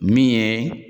Min ye